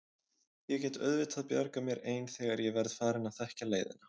Ég get auðvitað bjargað mér ein þegar ég verð farin að þekkja leiðina.